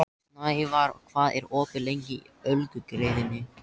Snævarr, hvað er opið lengi í Ölgerðinni?